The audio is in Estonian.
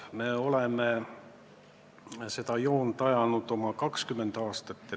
Me oleme seda joont ajanud oma 20 aastat.